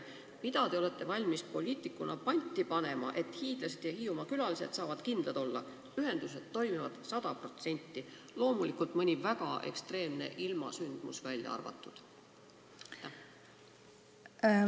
Mida te olete valmis poliitikuna panti panema, et hiidlased ja Hiiumaa külalised saavad kindlad olla: ühendused toimivad sada protsenti, loomulikult mõni väga ekstreemne ilmasündmus välja arvatud?